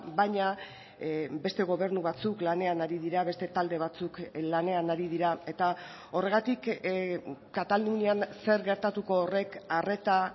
baina beste gobernu batzuk lanean ari dira beste talde batzuk lanean ari dira eta horregatik katalunian zer gertatuko horrek arreta